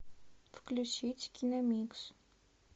включить киномикс